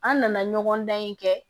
An nana ɲɔgɔn dan in kɛ